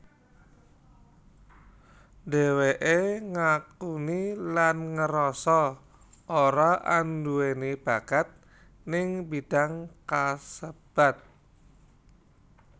Dheweké ngakuni lan ngerasa ora anduweni bakat ning bidang kasebut